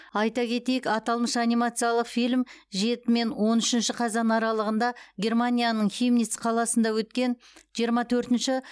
айта кетейік аталмыш анимациялық фильм жеті мен он үшінші қазан аралығында германияның хемниц қаласында өткен жиырма төртінші